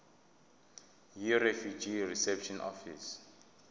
yirefugee reception office